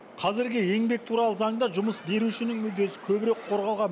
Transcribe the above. қазіргі еңбек туралы заңда жұмыс берушінің мүддесі көбірек қорғалған